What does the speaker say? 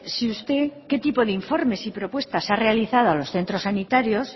si usted qué tipo de informes y propuestas ha realizado a los centros sanitarios